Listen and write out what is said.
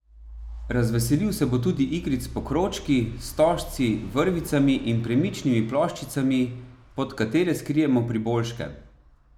Razveselil se bo tudi igric s pokrovčki, stožci, vrvicami in premičnimi ploščicami, pod katere skrijemo priboljške.